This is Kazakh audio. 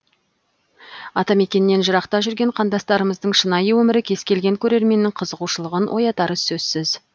атамекеннен жырақта жүрген қандастарымыздың шынайы өмірі кез келген көрерменнің қызығушылығын оятары сөзсіз